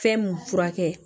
Fɛn mun furakɛ